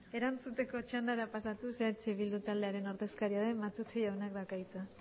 erantzuteko txandara pasatuz eh bildu taldearen ordezkaria den matute jaunak dauka hitza